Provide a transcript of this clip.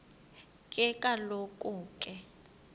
ke kaloku ke